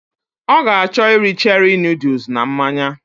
Ọ ga achọ iri cherie nọdles na mmanya